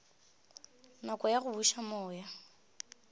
nako ya go buša moya